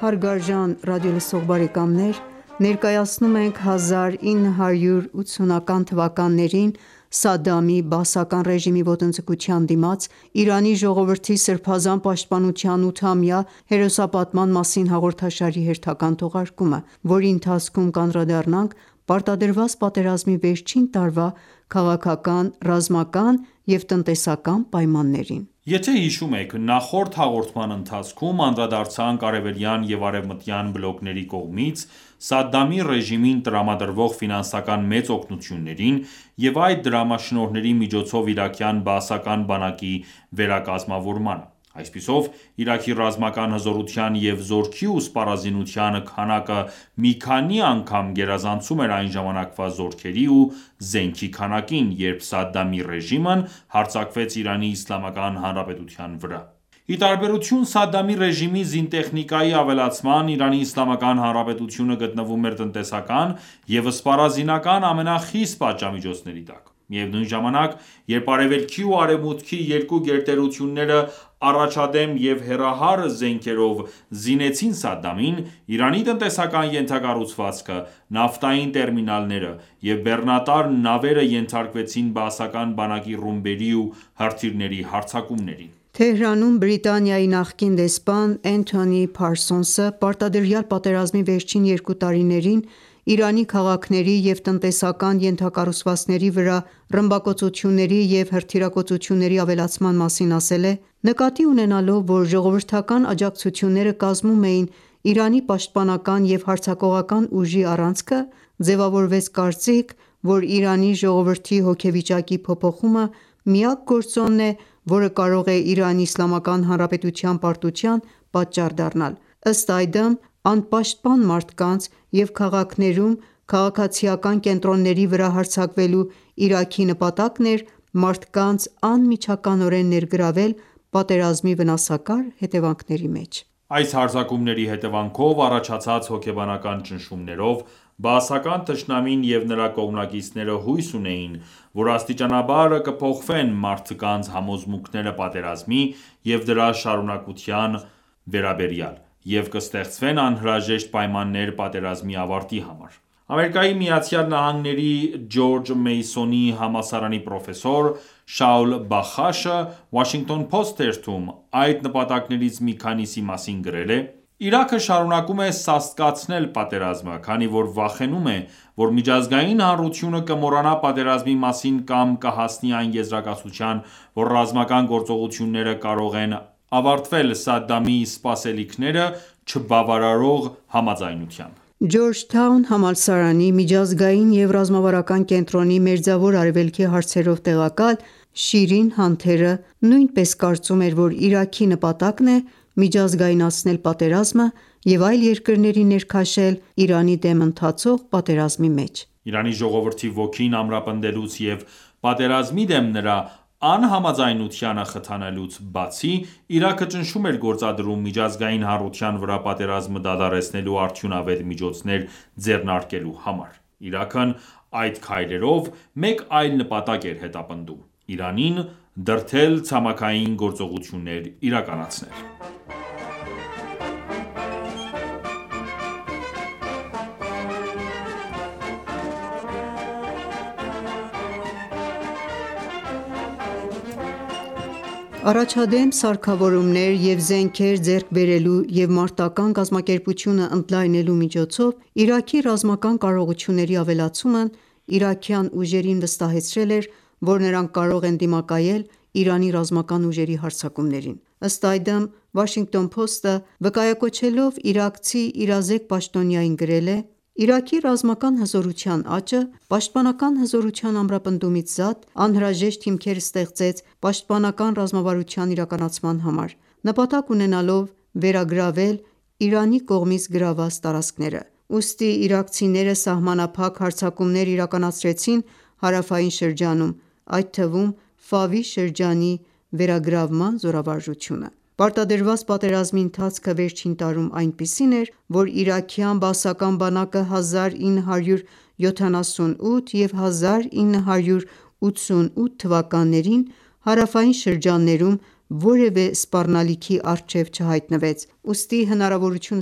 հարգարժան ռադիոլսող բարեկամներ: Ներկայացնում ենք 1980-ական թվականներին Սադդամի bաասական ռեժիմի ոտնձգության դիմաց Իրանի ժողովրդի սրբազան պաշտպանության 8-ամյա հերոսապատման մասին հաղորդաշարի հերթական թողարկումը, որի ընթացքում կանդրադառնանք պարտադրված պատերազմի վերջին տարվա քաղաքական, ռազմական և տնտեսական պայմաններին: Եթե հիշում եք, նախորդ հաղորդման ընթացքում անդրադարձանք արևելյան և արևմտյան բլոկների կողմից Սադդամի ռեժիմին տրամադրվող ֆինանսական մեծ օգնություններին և այդ դրամաշնորհների միջոցով իրաքյան բաասական բանակի վերակազմավորմանը: Այսպիսով, Իրաքի ռազմական հզորության և զորքի ու սպառազինության քանակը մի քանի անգամ գերազանցում էր այն ժամակավա զորքերի ու զենքի քանակին, երբ Սադդամի ռեժիմն հարձակվեց Իրանի Իսլամական Հանրապետության վրա: Ի տարբերություն Սադդամի ռեժիմի զինտեխնիկայի ավելացման՝ Իրանի Իսլամական Հանրապետությունը գտնվում էր տնտեսական և սպառազինական ամենախիստ պատժամիջոցների տակ։ Միևնույն ժամանակ, երբ Արևելքի և Արևմուտքի երկու գերտերությունները առաջադեմ և հեռահար զենքերով զինեցին Սադդամին, Իրանի տնտեսական ենթակառուցվածքը, նավթային տերմինալները և բեռնատար նավերը ենթարկվեցին բաասական բանակի ռումբերի և հրթիռների հարձակումներին: Թեհրանում Բրիտանիայի նախկին դեսպան Էնթոնի Փարսոնսը պարտադրյալ պատերազմի վերջին երկու տարիներին Իրանի քաղաքների և տնտեսական ենթակառուցվածքների վրա ռմբակոծությունների և հրթիռակոծությունների ավելացման մասին ասել է.«Նկատի ունենալով, որ ժողովրդական աջակցությունները կազմում էին Իրանի պաշտպանական և հարձակողական ուժի առանցքը, ձևավորվեց կարծիք, որ Իրանի ժողովրդի հոգեվիճակի փոփոխումը միակ գործոնն է, որը կարող է Իրանի Իսլամական Հանրապետության պարտության պատճառ դառնալ: Ըստ այդմ, անպաշտպան մարդկանց և քաղաքներում քաղաքացիական կենտրոնների վրա հարձակվելու Իրաքի նպատակն էր մարդկանց անմիջականորեն ներգրավել պատերազմի վնասակար հետևանքների մեջ: Այս հարձակումների հետևանքով առաջացած հոգեբանական ճնշումներով, բաասական թշնամին և նրա կողմնակիցները հույս ունեին, որ աստիճանաբար կփոխվեն մարդկանց համոզմունքները պատերազմի և դրա շարունակության վերաբերյալ, և կստեղծվեն անհրաժեշտ պայմաններ պատերազմի ավարտի համար: ԱՄՆ Ջորջ Մեյսոնի համալսարանի պրոֆեսոր Շաուլ Բախաշը Washington Post թերթում այդ նպատակներից մի քանիսի մասին գրել է. «Իրաքը շարունակում է սաստկացնել պատերազմը, քանի որ վախենում է, որ միջազգային հանրությունը կմոռանա պատերազմի մասին կամ կհասնի այն եզրակացության, որ ռազմական գործողությունները կարող են ավարտվել Սադդամի սպասելիքները չբավարարող համաձայնությամբ»: «Ջորջթաուն» համալսարանի Միջազգային և ռազմավարական կենտրոնի Մերձավոր Արևելքի հարցերով տեղակալ Շիրին Հանթերը նույնպես կարծում էր, որ Իրաքի նպատակն է միջազգայնացնել պատերազմը և այլ երկրներին ներքաշել Իրանի դեմ ընթացող պատերազմի մեջ: Իրանի ժողովրդի ոգին ամրապնդելուց և պատերազմի դեմ նրա անհամաձայնությանը խթանելուց բացի, Իրաքը ճնշում էր գործադրում միջազգային հանրության վրա պատերազմը դադարեցնելու արդյունավետ միջոցներ ձեռնարկելու համար: Իրաքն այդ քայլերով մեկ այլ նպատակ էր հետապնդում՝ Իրանին դրդել ցամաքային գործողություններ իրականացնել: Առաջադեմ սարքավորումներ և զենքեր ձեռք բերելու և մարտական ​​կազմակերպությունը ընդլայնելու միջոցով Իրաքի ռազմական կարողությունների ավելացումն իրաքյան ուժերին վստահեցրել էր որ նրանք կարող են դիմակայել Իրանի ռազմական ուժերի հարձակումներին: Ըստ այդմ, Washington Post-ը՝ վկայակոչելով իրաքցի իրազեկ պաշտոնյային, գրել է.«Իրաքի ռազմական հզորության աճը, պաշտպանական հզորության ամրապնդումից զատ, անհրաժեշտ հիմքեր ստեղծեց պաշտպանական ռազմավարության իրականացման համար՝ նպատակ ունենալով վերագրավել Իրանի կողմից գրավված տարածքները: Ուստի իրաքցիները սահմանափակ հարձակումներ իրականացրեցին հարավային շրջանում, այդ թվում՝ Ֆավի շրջանի վերագրավման զորավարժությունը։ Պարտադրված պատերազմի ընթացքը վերջին տարում այնպիսին էր, որ իրաքյան բաասական բանակը 1978 և 1988 թվականներին հարավային տարածաշրջանում որևէ սպառնալիքի առջև չհայտնվեց, ուստի հնարավորություն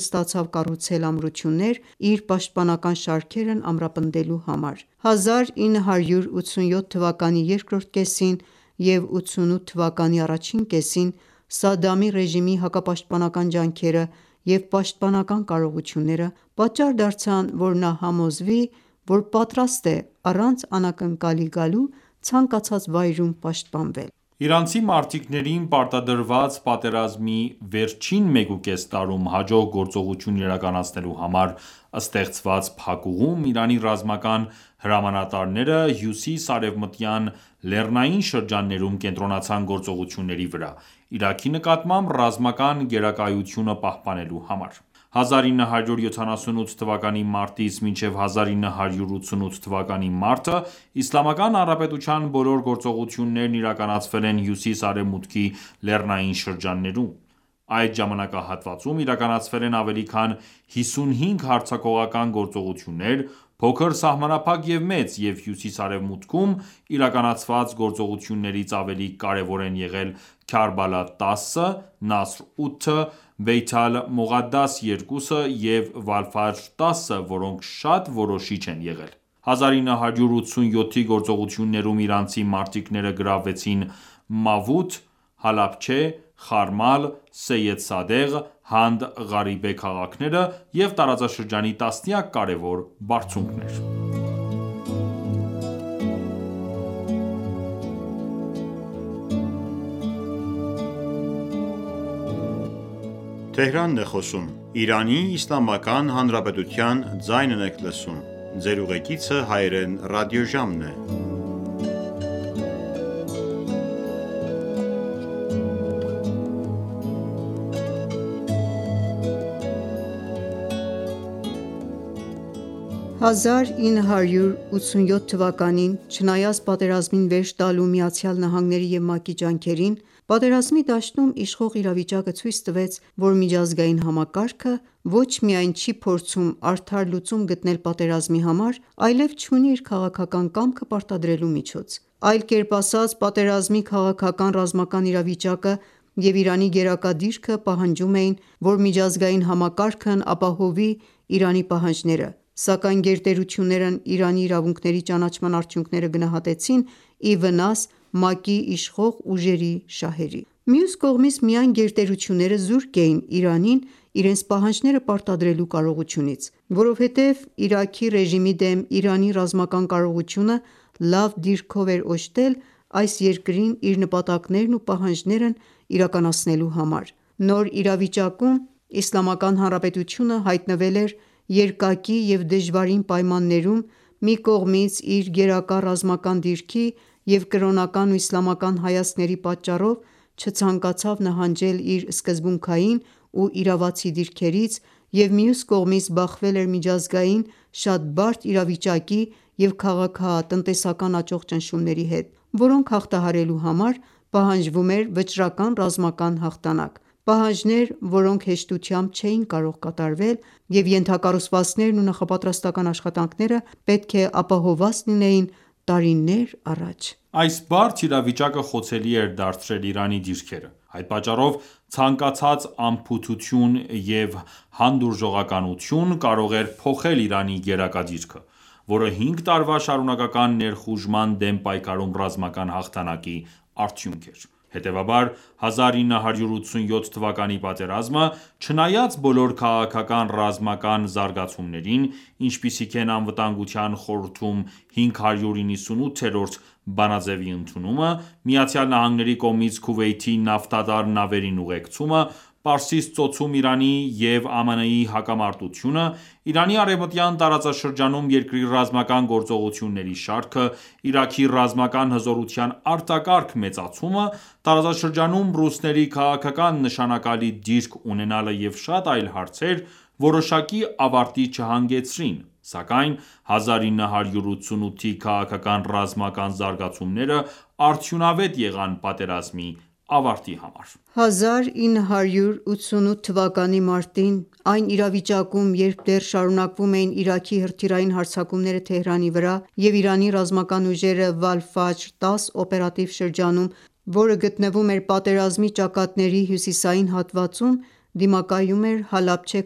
ստացավ կառուցել ամրություններ՝ իր պաշտպանական շարքերն ամրապնդելու համար: 1987 թվականի երկրորդ կեսին և 1988 թվականի առաջին կեսին Սադդամի ռեժիմի հակապաշտպանական ջանքերը և պաշտպանական կարողությունները պատճառ դարձան, որ նա համոզվի որ պատրաստ է առանց անակնկալի գալու ցանկացած վայրում պաշտպանվել: Իրանցի մարտիկներին պարտադրված պատերազմի վերջին մեկուկես տարում հաջող գործողություն իրականացնելու համար ստեղծված փակուղում Իրանի ռազմական հրամանատարները հյուսիս-արևմտյան լեռնային շրջաններում կենտրոնացան գործողությունների վրա՝ Իրաքի նկատմամբ ռազմական գերակայությունը պահպանելու համար: 1978 թվականի մարտից մինչև 1988 թվականի մարտը Իսլամական Հանրապետության բոլոր գործողություններն իրականացվել են հյուսիս-արևմուտքի լեռնային շրջաններում։ Այդ ժամանակահատվածում իրականացվել են ավելի քան 55 հարձակողական գործողություններ՝ փոքր, սահմանափակ և մեծ, և հյուսիս-արևմուտքում իրականացված գործողություններից ավելի կարևոր են եղել Քարբալա 10-ը, Նասր-8-ը, Բեյթ ալ Մողադաս 2-ը և Վալ-Ֆաջր-10-ը,որոնք շատ որոշիչ են եղել։ 1987-ի գործողություններում իրանցի մարտիկները գրավեցին Մավութ, Հալաբչեհ, Խարմալ, Սեյեդ Սադեղ, Հանդ Ղարիբե քաղաքները և տարածաշրջանի տասնյակ կարևոր բարձունքներ։ 1987 թվականին, չնայած պատերազմին վերջ տալու ԱՄՆ-ի և ՄԱԿ-ի ջանքերին, Պատերազմի դաշտում իշխող իրավիճակը ցույց տվեց, որ միջազգային համակարգը ոչ միայն չի փորձում արդար լուծում գտնել պատերազմի համար, այլև չունի իր քաղաքական կամքը պարտադրելու միջոց:Այլ կերպ ասած՝ պատերազմի քաղաքական-ռազմական իրավիճակը և Իրանի գերակա դիրքը պահանջում էին, որ միջազգային համակարգն ապահովի Իրանի պահանջները, սակայն գերտերություններն Իրանի իրավունքների ճանաչման արդյունքները գնահատեցին ի վնաս ՄԱԿ-ի իշխող ուժերի շահերի։ Մյուս կողմից, միայն գերտերությունները զուրկ էին Իրանին իրենց պահանջները պարտադրելու կարողությունից։ Որովհետև Իրաքի ռեժիմի դեմ Իրանի ռազմական կարողությունը լավ դիրքով էր օժտել այս երկրին իր նպատակներն ու պահանջներն իրականացնելու համար։ Նոր իրավիճակում Իսլամական Հանրապետությունը հայտնվել էր երկակի և դժվարին պայմաններում, մի կողմից՝ իր գերակա ռազմական դիրքի և կրոնական ու իսլամական հայացքների պատճառով չցանկացավ նահանջել իր սկզբունքային ու իրավացի դիրքերից, և մյուս կողմից՝ բախվել էր միջազգային շատ բարդ իրավիճակի և քաղաքական-տնտեսական աճող ճնշումների հետ, որոնք հաղթահարելու համար պահանջվում էր վճռական ռազմական հաղթանակ։ Պահանջներ, որոնք հեշտությամբ չէին կարող կատարվել, և ենթակառուցվածքներն ու նախապատրաստական ​​աշխատանքները պետք է ապահովված լինեին տարիներ առաջ։ Այս բարդ իրավիճակը խոցելի էր դարձրել Իրանի դիրքերը։ Այդ պատճառով, ցանկացած անփութություն և հանդուրժողականություն կարող էր փոխել Իրանի գերակա դիրքը, որը հինգ տարվա շարունակական ներխուժման դեմ պայքարում ռազմական հաղթանակի արդյունք էր: Հետևաբար, 1987 թվականի պատերազմը, չնայած բոլոր քաղաքական-ռազմական զարգացումներին, ինչպիսիք են Անվտանգության խորհրդում 598-րդ բանաձևի ընդունումը, ԱՄՆ-ի կողմից Քուվեյթի նավթատար նավերին ուղեկցումը, Պարսից ծոցում Իրանի և ԱՄՆ-ի հակամարտությունը, Իրանի արևմտյան տարածաշրջանում երկրի ռազմական գործողությունների շարքը, Իրաքի ռազմական հզորության արտակարգ մեծացումը, տարածաշրջանում ռուսների քաղաքական նշանակալի դիրք ունենալը և շատ այլ հարցեր որոշակի ավարտի չհանգեցրին, սակայն 1988-ի քաղաքական-ռազմական զարգացումները արդյունավետ եղան պատերազմի ավարտի համար։ 1988 թվականի մարտին, այն իրավիճակում, երբ դեռ շարունակվում էին Իրաքի հրթիռային հարձակումները Թեհրանի վրա, և Իրանի ռազմական ուժերը Վալֆաջր-10 օպերատիվ շրջանում որը գտնվում էր պատերազմի ճակատների հյուսիսային հատվածում դիմակայում էր Հալաբչե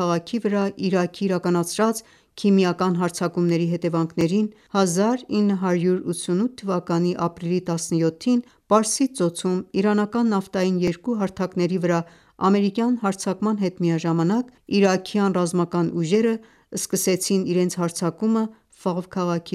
քաղաքի վրա Իրաքի իրականացրած քիմիական հարձակումների հետևանքներին, 1988 թվականի ապրիլի 17-ին, Պարսից ծոցում իրանական նավթային երկու հարթակների վրա ամերիկյան հարձակման հետ միաժամանակ, իրաքյան ռազմական ուժերը սկսեցին իրենց հարձակումը Ֆավ քաղաքի